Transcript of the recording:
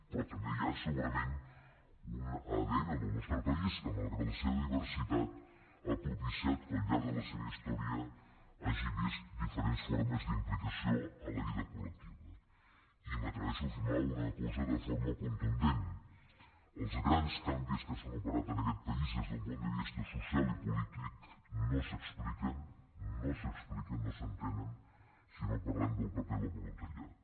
però també hi ha segurament un adn del nostre país que malgrat la seva diversitat ha propiciat que al llarg de la seva història hagi vist diferents formes d’implicació en la vida col·i m’atreveixo a afirmar una cosa de forma contundent els grans canvis que s’han operat en aquest país des d’un punt de vista social i polític no s’expliquen no s’entenen si no parlem del paper del voluntariat